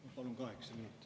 Ma palun kaheksa minutit.